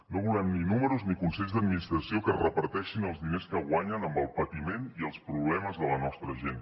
no volem ni números ni consells d’administració que es reparteixin els diners que guanyen amb el patiment i els problemes de la nostra gent